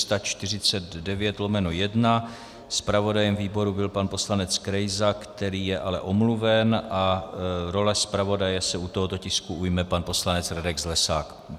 Zpravodajem výboru byl pan poslanec Krejza, který je ale omluven, a role zpravodaje se u tohoto tisku ujme pan poslanec Radek Zlesák.